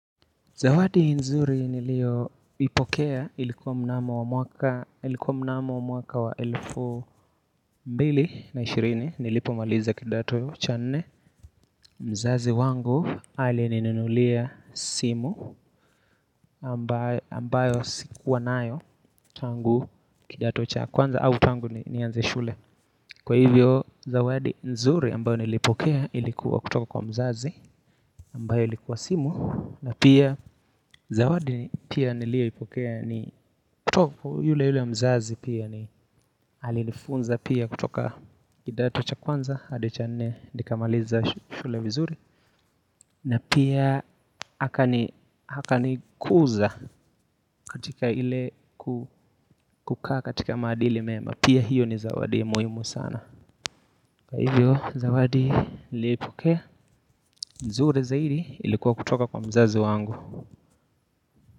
Zawadi nzuri nilioipokea ilikuwa mnamo mwaka wa elfu mbili na ishirini nilipomaliza kidato cha nne, mzazi wangu alininunulia simu ambayo sikuwa nayo tangu kidato cha kwanza au tangu nianze shule. Kwa hivyo zawadi nzuri ambayo nilipokea ilikuwa kutoka kwa mzazi ambayo likuwa simu, na pia zawadi pia nilipokea ni kutoka yule yule mzazi pia ni alifunza pia kutoka kidato cha kwanza hadi cha nne nikamaliza shule vizuri. Na pia akanikuza katika ile kukaa katika maadili mema, pia hio ni zawadi muhimu sana, kwa hivyo zawadi niliopokea nzuri zaidi ilikuwa kutoka kwa mzazo wangu.